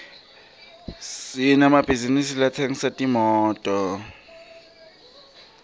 sinemabhizisi latsengisa timoto